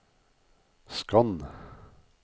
skann